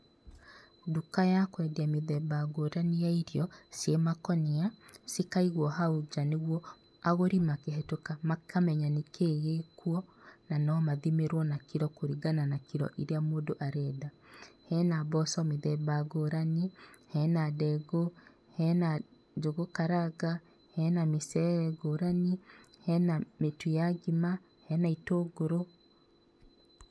Nduka ya kwendia mĩthemba ngũrani ya irio ciĩ makũnia cikaigwo hau nja nĩguo agũri makĩhetũka makamenya nĩkĩĩ gĩkuo na no mathimĩrwo na kiro kũringana na kiro iria mũndũ arenda. Hena mboco mĩthemba ngũrani, hena ndengũ, hena njũgũ karanga, hena mĩcere ngũrani, hena mĩtu ya ngima, hena itũngũrũ.